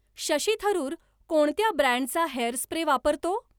शशी थरूर कोणत्या ब्रँडचा hair spray वापरतो